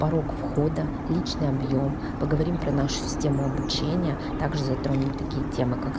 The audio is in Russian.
порог входа личный объем поговорим про нашу систему обучения также затронем такие темы как